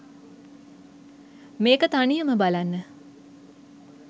මේක තනියම බලන්න